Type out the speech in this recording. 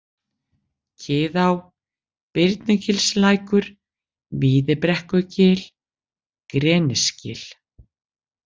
Kiðá, Birnugilslækur, Víðibrekkugil, Grenisgil